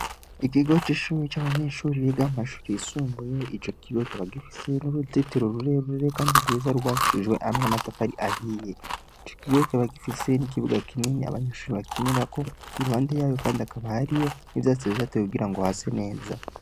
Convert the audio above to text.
Ikigo c'ishure c'abanyeshure biga mu mashure yisumbuye, ico kigo kikaba gifise n'uruzitiro rurerure kandi rwiza rwubakishijwe hamwe n'amatafari ahiye; ico kigo kikaba gifise ikibuga kinini abanyeshure bakinirako, iruhande yayo kandi akaba hariyo n'ivyatsi vyatewe kugira ngo hase neza.